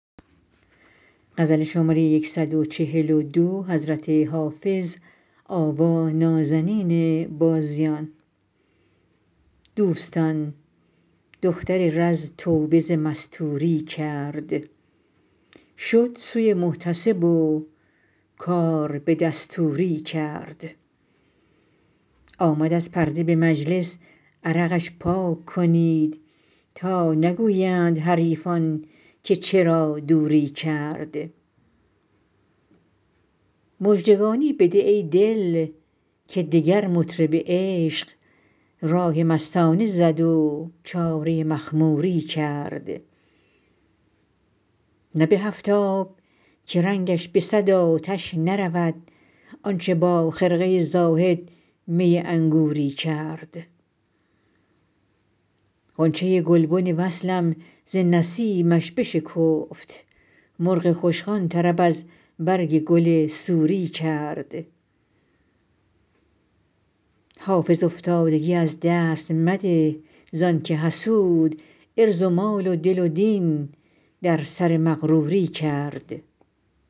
دوستان دختر رز توبه ز مستوری کرد شد سوی محتسب و کار به دستوری کرد آمد از پرده به مجلس عرقش پاک کنید تا نگویند حریفان که چرا دوری کرد مژدگانی بده ای دل که دگر مطرب عشق راه مستانه زد و چاره مخموری کرد نه به هفت آب که رنگش به صد آتش نرود آن چه با خرقه زاهد می انگوری کرد غنچه گلبن وصلم ز نسیمش بشکفت مرغ خوشخوان طرب از برگ گل سوری کرد حافظ افتادگی از دست مده زان که حسود عرض و مال و دل و دین در سر مغروری کرد